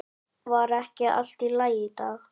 Var ekki allt í lagi?